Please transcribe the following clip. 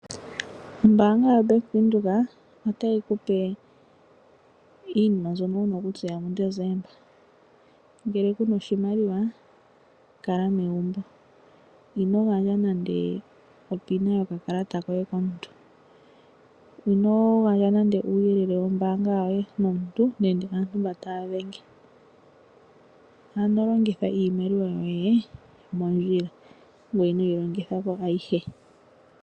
Ombaanga yaBank Windhoek otayi ku pe iinima mbyono wu na okutseya muDesemba. Ngele ku na oshimaliwa kala megumbo. Ino gandja nande onomola yoye yomehola mo yokakalata koye komuntu. Ino gandja nande uuyelele wombaanga yoye komuntu nenge aantu mbono taya dhenge. Ano longitha iimaliwa yoye mondjila, ngoye inoyi longitha po ayihe.